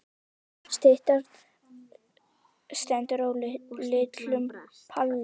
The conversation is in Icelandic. Styttan stendur á litlum palli.